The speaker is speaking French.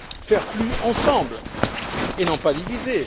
Faire plus ensemble et non pas divisés.